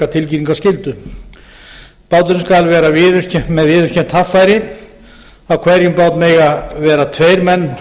tilkynningarskyldu báturinn skal hafa viðurkennt haffæri á hverjum bát mega vera tveir menn